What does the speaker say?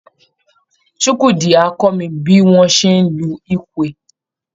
Chukwudi á kọ́ mi bí wọ́n ṣe ń lu Ekwe